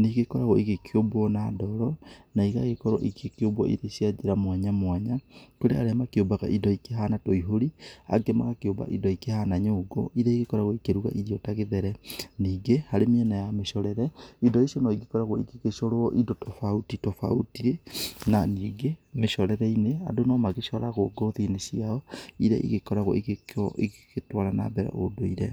Nĩ igĩkoragwo igĩkĩũmbwo na ndoro, na igĩkorwo igĩkĩumbwo irĩ cia njĩra mwanya mwanya. Kũrĩ arĩa makĩũmbaga indo ikĩhana tũihũri, angĩ magakĩũmba indo ikĩhana nyũngũ irĩa igĩkoragwo ikĩruga irio ta gĩthere. Ningĩ harĩ mĩena ya mĩcorere, indo ici no igĩkoragwo igĩgĩcorwo indo tofauti tofauti. Na ningĩ mĩcorere-inĩ, andũ no magĩcoragwo ngothi-inĩ ciao irĩa ĩgĩkoragwo igĩgĩtwara na mbere ũndũire.